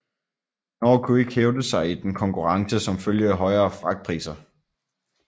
Norge kunne ikke hævde sig i den konkurrence som følge af højere fragtpriser